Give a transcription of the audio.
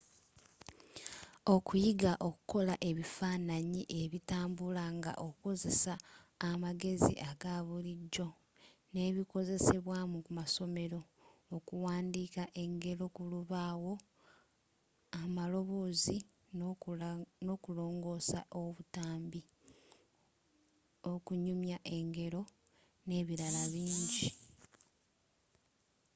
okuyiga okukola ebifannanyi ebitambula nga okozesa amagezi aga bulijjo n’ebikozesebwa mu masomero okuwandika engeero kulubaawo amaloboozi n’okulongoosa obutambi okunyumya engero nebirala bingi.